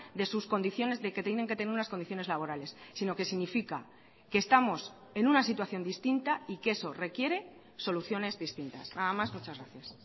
de sus condiciones de que tienen que tener unas condiciones laborales sino que significa que estamos en una situación distinta y que eso requiere soluciones distintas nada más muchas gracias